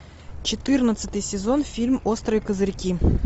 четырнадцатый сезон фильм острые козырьки